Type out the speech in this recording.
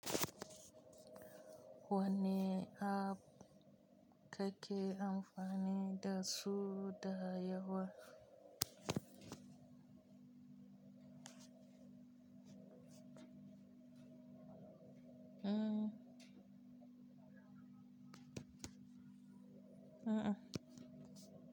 Wanne app kake amfani da su da yawa? A'a.